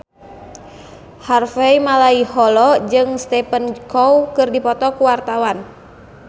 Harvey Malaiholo jeung Stephen Chow keur dipoto ku wartawan